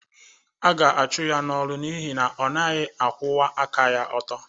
Ọ ga-achụ ya n’ọrụ n’ihi na ọ naghị akwụwa aka ọtọ